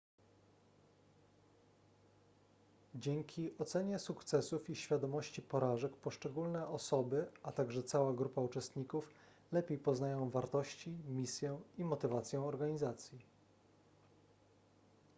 dzięki ocenie sukcesów i świadomości porażek poszczególne osoby a także cała grupa uczestników lepiej poznają wartości misję i motywację organizacji